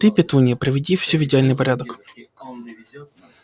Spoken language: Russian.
ты петунья приведи всё в идеальный порядок